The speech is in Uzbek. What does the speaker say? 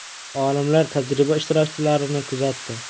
Olimlar tajriba ishtirokchilarini kuzatdi.